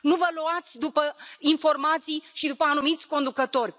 Nu vă luați după informații și după anumiți conducători.